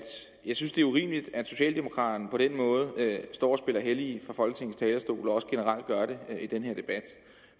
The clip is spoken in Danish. jeg synes at det er urimeligt at socialdemokraterne på den måde står og spiller hellige fra folketingets talerstol og også generelt gør det i den her debat